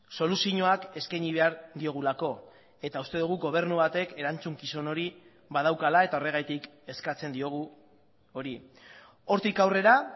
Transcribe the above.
soluzioak eskaini behar diogulako eta uste dugu gobernu batek erantzukizun hori badaukala eta horregatik eskatzen diogu hori hortik aurrera